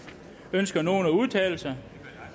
ønsker nogen at udtale sig